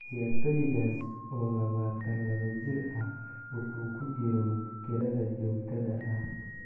Ciyaartoygaas oo lawatan lawa jir ah wuxuu ku jiro kirada joogtada ah.